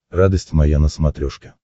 радость моя на смотрешке